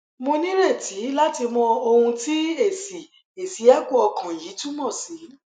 mo nireti lati mo owun ti esi esi echo okan yi tumosi